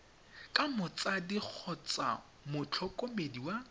ka motsadi kgotsa motlhokomedi wa